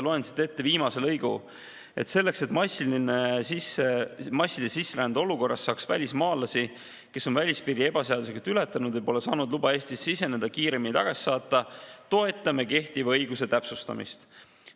Loen siit ette viimase lõigu: "Selleks, et massilise sisserände olukorras saaks välismaalasi, kes on välispiiri ebaseaduslikult ületanud või pole saanud luba Eestisse siseneda, kiiremini tagasi saata, toetame kehtiva õiguse täpsustamist.